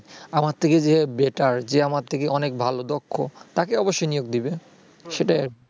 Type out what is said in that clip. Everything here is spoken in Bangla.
আমার থেকে যে better যে অনেক ভাল দক্ষ তাকে অবশ্যই নিয়োগ দিবে।